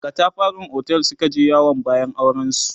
a katafaran otel Suka je yawon bayan auren su